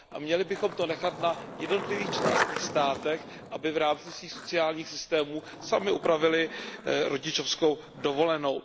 Měli bychom to nechat na jednotlivých členských státech, aby v rámci svých sociální systémů samy upravily rodičovskou dovolenou.